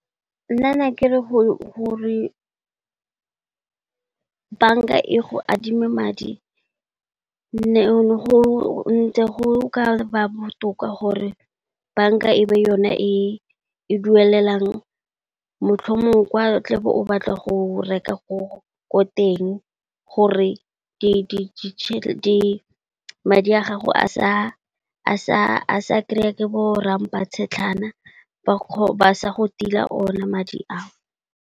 Nna ne kere gore banka e go adime madi, ne go ntse go ka ba botoka gore banka e be yone e e duelelang motlhomong kwa tla bo o batla go reka ko teng gore madi a gago a sa kry-a ke bo rampa-tshetlhana ba sa go tila ona madi ao.